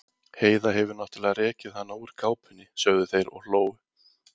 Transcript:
Heiða hefur náttúrlega rekið hana úr kápunni, sögðu þeir og hlógu.